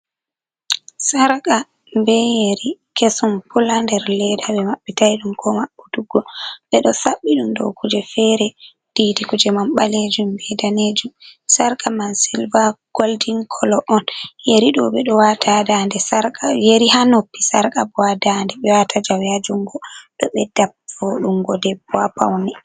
Sarka be yeri kesum pul ha nder leda ɓe maɓɓitai ɗum ko maɓɓutuggo ɓe ɗo saɓɓi ɗum dow kuje fere didi kuje man ɓalejum be danejum sarka mai goldin kolo on yeri ɗo ɓe ɗo wata dande sarka yeri ha noppi sarka bo ha dande ɓe wata jawe ha jungo do ɓedda voɗungo debbo ha paune.